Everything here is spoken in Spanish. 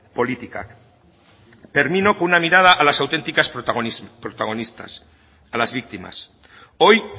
politikak termino con una mirada a las auténticas protagonistas a las víctimas hoy